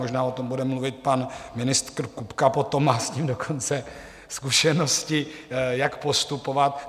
Možná o tom bude mluvit pan ministr Kupka potom, má s tím dokonce zkušenosti, jak postupovat.